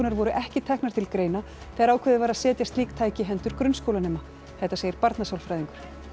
voru ekki teknar til greina þegar ákveðið var að setja slík tæki í hendur grunnskólanema þetta segir barnasálfræðingur